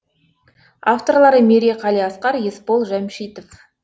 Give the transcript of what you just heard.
авторлары мерей қалиасқар есбол жәмшитов